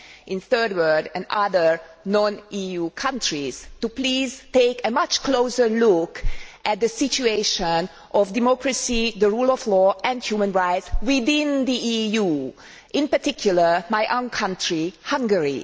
in the Third World and other non EU countries, but also, please, to take a much closer look at the situation of democracy, the rule of law and human rights within the EU, in particular in my own country, Hungary.